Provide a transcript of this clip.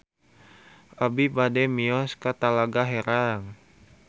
Abi bade mios ka Talaga Herang